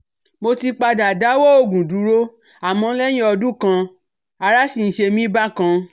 Mo ti padà dáwọ́ òògùn dúró àmọ́ lẹ́yìn ọdún kan ará sì ń ṣe mí bákan